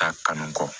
Taa kanu kɔ